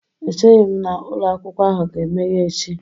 Echeghị m na ụlọ akwụkwọ ahụ ga-emeghe echi.